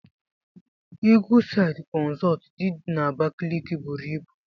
Eagleside consult did na Abakaliki buru ibu.